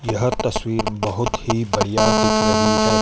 यह तस्वीर बहोत ही बढ़िया दिख रही है।